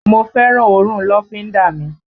Mo fẹ́ràn òórùn lọ́fíńdà mi